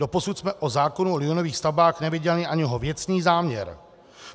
Doposud jsme o zákonu o liniových stavbách neviděli ani jeho věcný záměr.